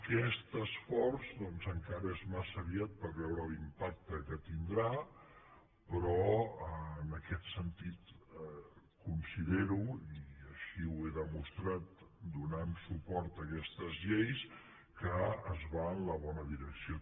aquest esforç doncs encara és massa aviat per veure l’impacte que tindrà però en aquest sentit considero i així ho he demostrat donant suport a aquestes lleis que es va en la bona direcció